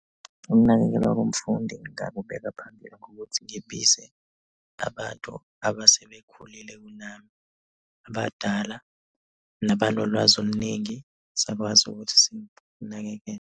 Ukunakekelwa komfundi ngingakubeka phambili ngokuthi ngibize abantu abasebekhulile kunami. Abadala nabanolwazi oluningi. Sakwazi ukuthi sikunakekele.